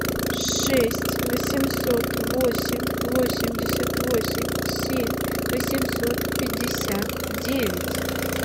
шесть восемьсот восемь восемьдесят восемь семь восемьсот пятьдесят девять